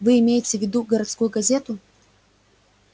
вы имеете в виду городскую газету